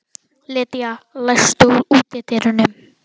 Lydia, læstu útidyrunum.